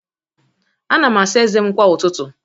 Ana m asa ezé m kwa ụtụtụ